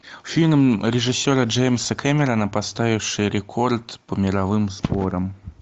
фильм режиссера джеймса кэмерона поставивший рекорд по мировым сборам